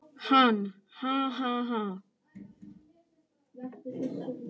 Hann: Ha ha ha.